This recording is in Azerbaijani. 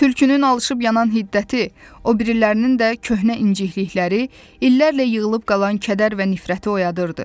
Tülkünün alışıb yanan hiddəti, o birilərinin də köhnə inciklikləri, illərlə yığılıb qalan kədər və nifrəti oyadırdı.